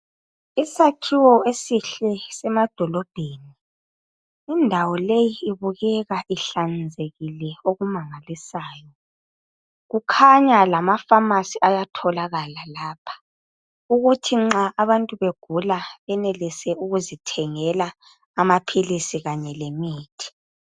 Isakhiwo esihle semadolobheni indawo leyi ibukeka ihlanzekile okumangalisayo kukhanya lamafamasi ayatholakala lapha ukuthi nxa abantu begula benelise ukuzithengela amaphilisi kanye lemithi.